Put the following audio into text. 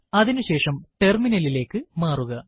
അതിനുശേഷം terminal ലിലേക്ക് മാറുക